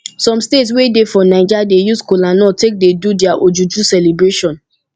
som state wey dey for naija dey use kolanut take dey do dia ojuju celebration